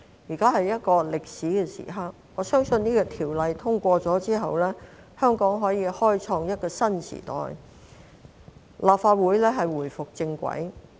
現時是一個歷史時刻，我相信《條例草案》通過後，香港將可以開創一個新時代，立法會能回歸正軌。